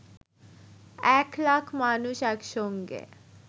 ১ লাখ মানুষ একসঙ্গে